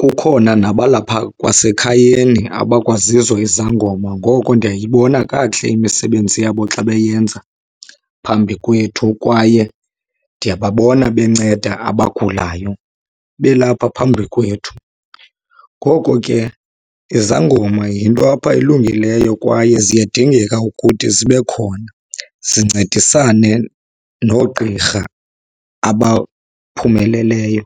Kukhona nabalapha kwasekhayeni abakwazizo izangoma. Ngoko ndiyayibona kakuhle imisebenzi yabo xa beyenza phambi kwethu kwaye ndiyababona benceda abagulayo belapha phambi kwethu. Ngoko ke izangoma yinto apha elungileyo kwaye ziyadingeka ukuthi zibe khona zincedisane noogqirha abaphumeleleyo.